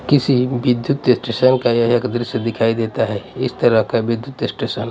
किसी विद्युत स्टेशन का यह एक दृश्य दिखाई देता है इस तरह का विद्युत स्टेशन --